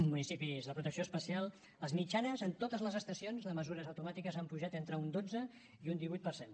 a municipis de protecció especial les mitjanes en totes les estacions de mesures automàtiques han pujat entre un dotze i un divuit per cent